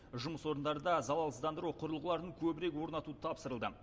жұмыс орындарында залалсыздандыру құрылғыларын көбірек орнату тапсырылды